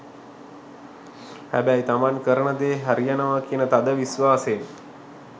හැබැයි තමන් කරන දේ හරියනවා කියන තද විශ්වාසයෙන්.